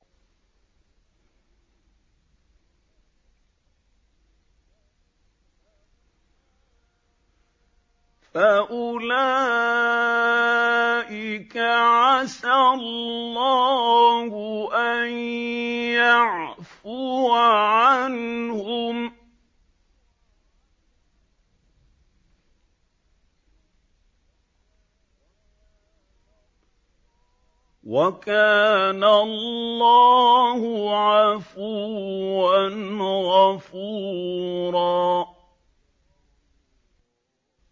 فَأُولَٰئِكَ عَسَى اللَّهُ أَن يَعْفُوَ عَنْهُمْ ۚ وَكَانَ اللَّهُ عَفُوًّا غَفُورًا